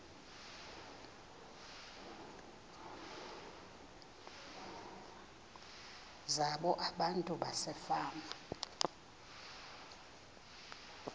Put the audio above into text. zabo abantu basefama